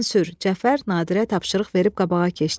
Cəfər Nadirə tapşırıq verib qabağa keçdi.